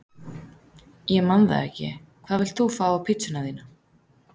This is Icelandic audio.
Ég man það ekki Hvað vilt þú fá á pizzuna þína?